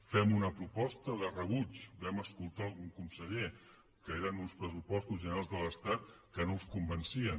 fem una proposta de rebuig que vam escoltar d’algun conseller que eren uns pressupostos generals de l’estat que no els convencien